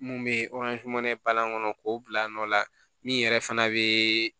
Mun bɛ kɔnɔ k'o bila nɔ la min yɛrɛ fana bɛ